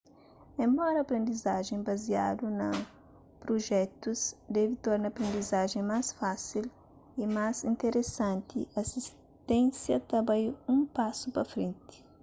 enbora aprendizajen baziadu na prujetus debe torna aprendizajen más fásil y más interesanti asisténsia ta bai un pasu pa frenti